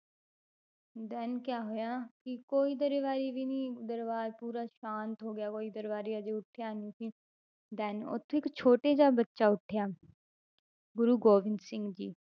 Then ਕਿਆ ਹੋਇਆ ਕਿ ਕੋਈ ਦਰਬਾਰੀ ਵੀ ਨੀ ਦਰਬਾਰ ਪੂਰਾ ਸ਼ਾਂਤ ਹੋ ਗਿਆ ਕੋਈ ਦਰਬਾਰੀ ਹਜੇ ਉੱਠਿਆ ਨੀ ਸੀ then ਉੱਥੋਂ ਇੱਕ ਛੋਟੇ ਜਿਹੇ ਬੱਚਾ ਉੱਠਿਆ, ਗੁਰੂ ਗੋਬਿੰਦ ਸਿੰਘ ਜੀ,